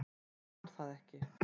Hann man það ekki.